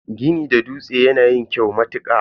Gini da dutse yana yin kyau matuka.